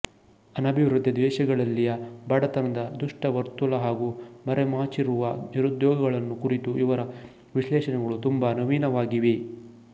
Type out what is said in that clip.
ಅನಭಿವೃದ್ಧಿ ದೇಶಗಳಲ್ಲಿಯ ಬಡತನದ ದುಷ್ಟ ವರ್ತುಲ ಹಾಗೂ ಮರೆಮಾಚಿರುವ ನಿರುದ್ಯೋಗಗಳನ್ನು ಕುರಿತು ಇವರ ವಿಶ್ಲೇಷಣೆ ಗಳು ತುಂಬ ನವೀನವಾಗಿವೆ